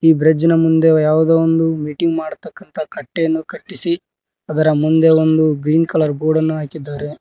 ಈ ಬ್ರಿಡ್ಜ್ ಮುಂದೆ ಯಾವುದೋ ಒಂದು ಮೀಟಿಂಗ್ ಮಾಡುವಂತಹ ಕಟ್ಟೆಯನ್ನು ಕಟ್ಟಿಸಿ ಅದರ ಮುಂದೆ ಒಂದು ಗ್ರೀನ್ ಕಲರ್ ಬೋರ್ಡ್ ಅನ್ನು ಹಾಕಿದ್ದಾರೆ.